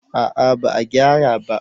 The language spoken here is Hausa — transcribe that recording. A'a ba a gyara ba